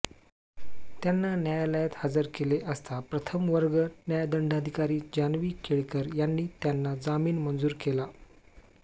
त्यांना न्यायालयात हजर केले असता प्रथमवर्ग न्यायदंडाधिकारी जानवी केळकर यांनी त्यांना जामीन मंजूर केला